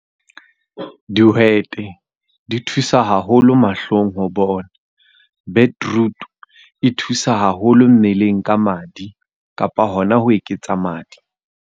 Dihwete, di thusa haholo mahlong ho bona. Beetroot, e thusa haholo mmeleng ka madi kapa hona ho eketsa madi.